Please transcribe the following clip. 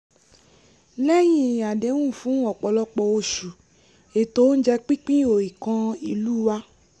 lẹ́yìn àdẹ́hùn fún ọ̀pọ̀lọpọ̀ oṣù ètò oúnjẹ pínpín ò ì kan ìlú wa